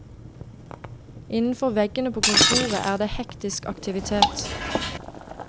Innenfor veggene på kontoret er det hektisk aktivitet.